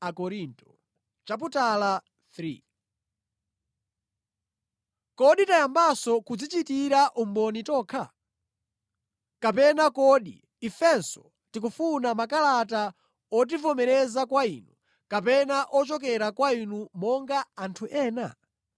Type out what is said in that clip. Kodi tayambanso kudzichitira umboni tokha? Kapena kodi ifenso tikufuna makalata otivomereza kwa inu, kapena ochokera kwa inu monga anthu ena?